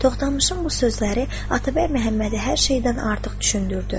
Toxtamışın bu sözləri Atabəy Məhəmmədi hər şeydən artıq düşündürdü.